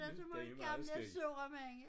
Der så mange gamle sure mænd